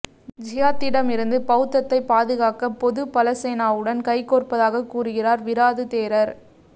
ஜிஹாத்திடம் இருந்து பௌத்தத்தை பாதுகாக்க பொதுபலசேனாவுடன் கைகோர்ப்பதாக கூறுகிறார் விராது தேரர்